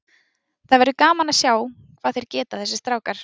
Það verður gaman að sjá hvað þeir geta þessir strákar.